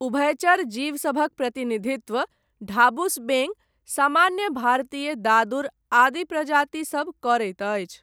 उभयचर जीवसभक प्रतिनिधित्व, ढाबुस बेङ्ग, सामान्य भारतीय दादुर आदि प्रजाति सब करैत अछि।